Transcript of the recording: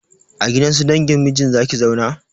A gidan su dangin mijinki za ki zauna?